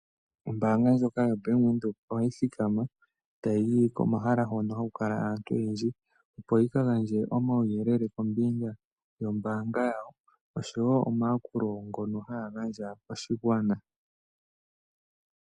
Ombanga ndjoka yo Bank Widheok ohayi thikama ota yiyi komahala hono hakukala aantu oyendji opo yikagandje omawuyelele kombinga yombanga yawo, osho wo omakulo gono hagandja koshingwaana.